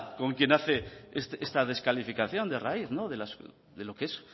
con quien hace esa descalificación de raíz de lo que es